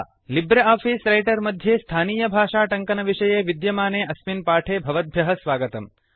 Libre office Writer मध्ये स्थानीयभाषाटङ्कनविषये विद्यमाने अस्मिन् पाठे भवद्भ्यः स्वागतम्